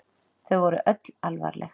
Þau voru öll alvarleg.